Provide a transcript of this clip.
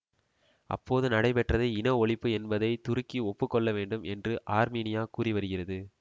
அப்போது நடைபெற்றது இன ஒழிப்பு என்பதை துருக்கி ஒப்பு கொள்ள வேண்டும் என்று ஆர்மீனியா கூறி வருகிறது